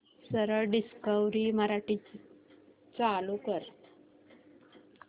सरळ डिस्कवरी मराठी चालू कर